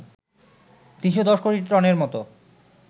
৩১০ কোটি টনের মতো